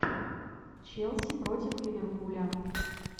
челси против ливерпуля